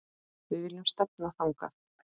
Við viljum stefna þangað.